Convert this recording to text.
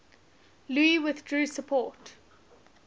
louis withdrew support